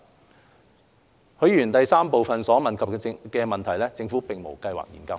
三許議員質詢第三部分所問及的問題，政府並無計劃研究。